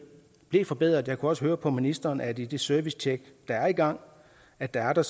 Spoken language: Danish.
blev forbedret jeg kunne også høre på ministeren at i det servicetjek der er i gang er der er der